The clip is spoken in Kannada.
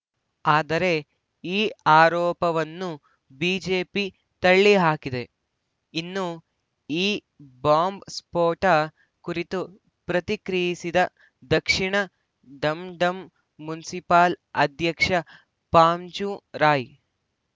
ಆದರೆ ಈ ಆರೋಪವನ್ನು ಬಿಜೆಪಿ ತಳ್ಳಿ ಹಾಕಿದೆ ಇನ್ನು ಈ ಬಾಂಬ್‌ ಸ್ಫೋಟ ಕುರಿತು ಪ್ರತಿಕ್ರಿಯಿಸಿದ ದಕ್ಷಿಣ ಡಂಡಂ ಮುನ್ಸಿಪಾಲ್‌ ಅಧ್ಯಕ್ಷ ಪಾಂಚು ರಾಯ್‌